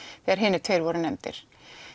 þegar hinir tveir voru nefndir